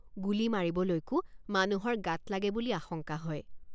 গুলী মাৰিবলৈকো মানুহৰ গাত লাগে বুলি আশঙ্কা হয়।